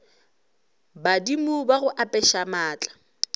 badimo ba go apeša maatla